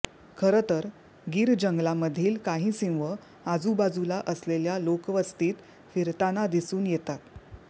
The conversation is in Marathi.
खरतर गिर जंगलामधील काही सिंह आजूबाजूला असलेल्या लोकवस्तीत फिरताना दिसून येतात